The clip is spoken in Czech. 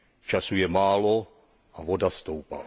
Času je málo a voda stoupá.